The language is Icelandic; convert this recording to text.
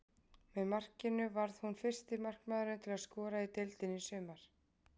Með markinu varð hún fyrsti markmaðurinn til að skora í deildinni í sumar.